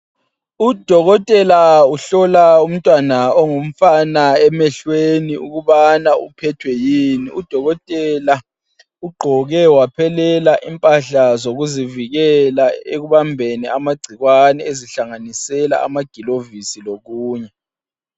Udokotela uhlola umntwana ongumfana emehlweni ukubana uphethwe yini .Udokotela ugqoke waphelela impahla zokuzivikela ekubambeni amagcikwane ezihlanganisela amagilovisi lokunye.